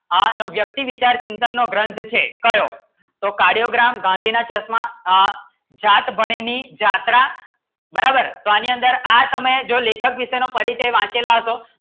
આનો વ્યક્તિ વિચાર ચિંતનના ગ્રંથો છે ક્યાં સો કાર્ડિયોગ્રામ ગાંધી ના ચશ્મા આ જાત બનેની જાત્રા બરાબર તો આની અંદર આ તમે જો લેખક વિષય નું પરિચય વાંચેલા હશો